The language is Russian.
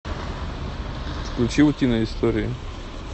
включи утиные истории